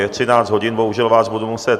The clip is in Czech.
Je 13 hodin, bohužel vás budu muset...